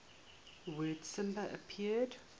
word samba appeared